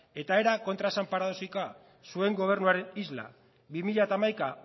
eta era kontraesan paradoxikoa zuen gobernuaren isla bi mila hamaika